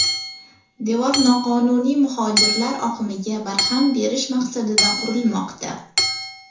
Devor noqonuniy muhojirlar oqimiga barham berish maqsadida qurilmoqda.